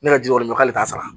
Ne ka jogo ɲuman k'ale t'a sara